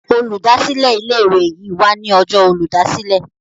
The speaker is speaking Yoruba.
Olùdásílẹ̀ ilé ìwé yí wá ní Ọjọ́ Olùdásílẹ̀.